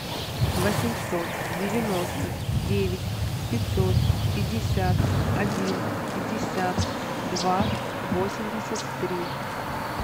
восемьсот девяноста девять пятьсот пятьдесят один пятьдесят два восемьдесят три